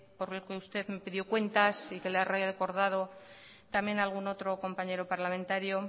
por el que usted me pidió cuentas y que le ha recordado también algún otro compañero parlamentario